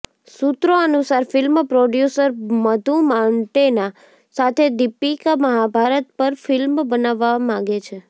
સુત્રો અનુસાર film producer Madhu Mantena સાથે દીપિકા મહાભારત પર ફિલ્મ બનાવવા માંગે છે